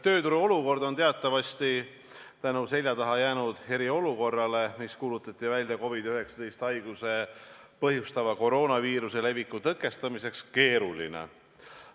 Tööturu olukord on selja taha jäänud eriolukorra tõttu, mis kuulutati välja COVID-19 haigust põhjustava koroonaviiruse leviku tõkestamiseks, teatavasti keeruline.